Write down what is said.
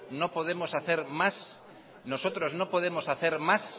no podemos hacer más isiltasuna mesedez